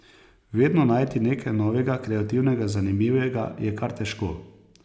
Vedno najti nekaj novega, kreativnega, zanimivega, je kar težko.